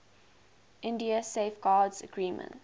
india safeguards agreement